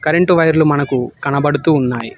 Front వైర్లు మనకు కనబడుతూ ఉన్నాయి.